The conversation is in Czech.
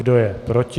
Kdo je proti?